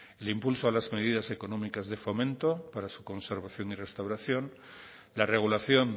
el impulso a las medidas económicas de fomento para su conservación y restauración la regulación